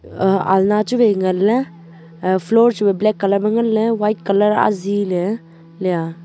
aa alna chu wai nganley aa floor chu wai black colour ma nganley white colour azihle liya.